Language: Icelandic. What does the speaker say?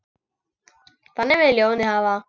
Þannig vill ljónið hafa það.